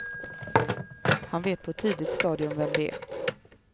Han vet på ett tidigt stadium vem det är.